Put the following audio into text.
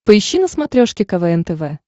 поищи на смотрешке квн тв